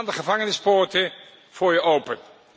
Dan gaan de gevangenispoorten voor je open.